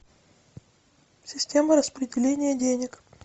система распределения денег